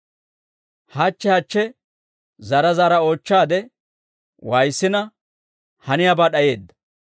Hachche hachche zaara zaara oochchaade waayissina, haniyaabaa d'ayeedda.